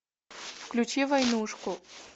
включи войнушку